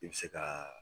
I bɛ se ka